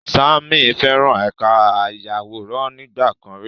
Sammy feran ẹka ayaworan nigbakan ri